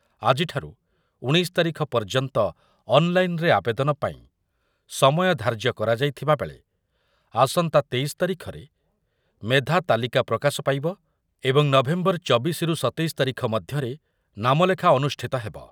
ଆଜିଠାରୁ ଉଣେଇଶି ତାରିଖ ପର୍ଯ୍ୟନ୍ତ ଅନ୍ ଲାଇନରେ ଆବେଦନ ପାଇଁ ସମୟ ଧାର୍ଯ୍ୟ କରାଯାଇଥିବା ବେଳେ ଆସନ୍ତା ତେଇଶି ତାରିଖରେ ମେଧା ତାଲିକା ପ୍ରକାଶ ପାଇବ ଏବଂ ନଭେମ୍ବର ଚବିଶି ରୁ ସତେଇଶି ତାରିଖ ମଧ୍ୟରେ ନାମଲେଖା ଅନୁଷ୍ଠିତ ହେବ